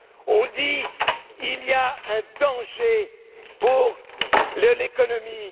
On dit qu'il y a un danger pour l'économie.